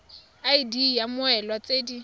id ya mmoelwa tse di